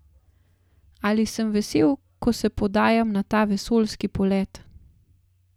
Ali sem vesel, ko se podajam na ta vesoljski polet?